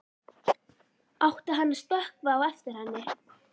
Átti hann að stökkva á eftir henni?